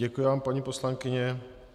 Děkuji vám, paní poslankyně.